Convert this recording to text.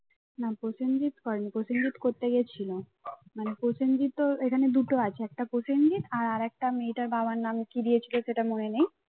না প্রসেনজিৎ করেনি প্রসেনজিৎ করতে গেছিল মানে প্রসেনজিৎও এখানে দুটো আছে একটা প্রসেনজিৎ আর আর একটা মেয়েটার বাবার নাম কি দিয়েছিল সেটা মনে নেই।